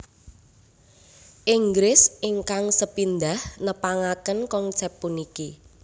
Inggris ingkang sepindhah nepangaken konsèp puniki